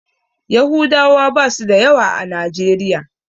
Yahudawa basu da yawa a najeriya.